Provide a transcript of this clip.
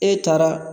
E taara